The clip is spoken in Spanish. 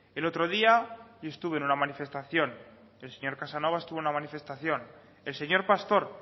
el otro día yo estuve en una manifestación el señor casanova estuvo en una manifestación el señor pastor